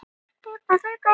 Það marraði í hurðinni.